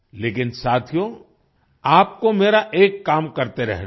लेकिन साथियो आपको मेरा एक काम करते रहना है